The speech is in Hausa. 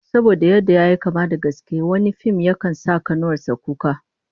Saboda yadda yayi kama da na gaske, wani fim yakan sa kanuwar sa kuka